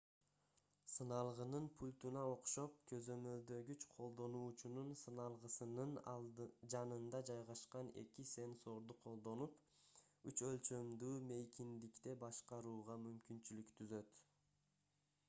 сыналгынын пультуна окшоп көзөмөлдөгүч колдонуучунун сыналгысынын жанында жайгашкан эки сенсорду колдонуп үч өлчөмдүү мейкиндикте башкарууга мүмкүнчүлүк түзөт